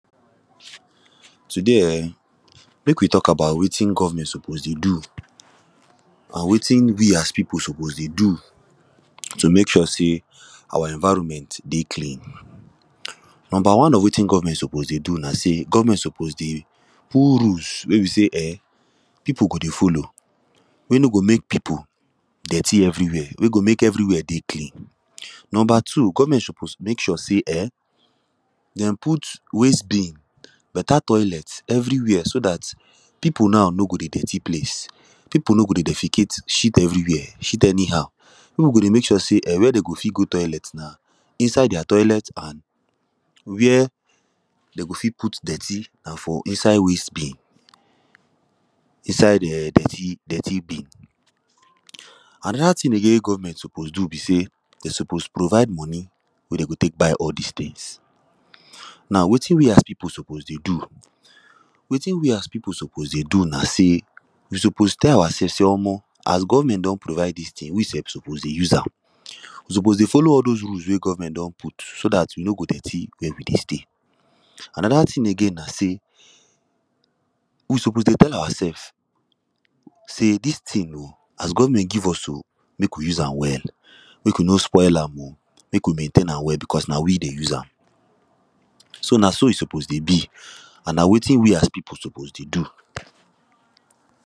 Today um, mek we talk about wetin government suppose dey do and wetin we as people suppose dey do to mek sure say our environment dey clean. Number one of wetin government suppose dey do na say government suppose dey put rules wey be say um, people go dey follow, wey no go mek people dirty everywhere, wey go mek everywhere dey clean. Number two: government suppose mek sure say, um, them put wastebin, beta toilet everywhere, so dat people now no go dey dirty place. people no go dey defecate, shit everywhere, shit anyhow. peolpe go dey mek sure say, um, where them go fit go toilet na inside their toilet and where them go fit put dirty na for inside wastebin, inside um, dirty, dirty bin. Another thing again wey government suppose do be say, them suppose provide money wey them go tek buy all these things. Now, wetin we as people suppose dey do, wetin we as people suppose dey do na say, we suppose tell ourself say, omo, as government don provide these things, we sef suppose dey use am. We suppose dey follow all those rules wey government don put, so dat we no go dirty where we dey stay. Another thing again na say, we suppose dey tell ourselves say dis thing o, as government give us so, mek we use am well. mek we no spoil am o, mek we maintain am well because na we dey use am. So, na so e suppose dey be, and na wetin we as people suppose dey do.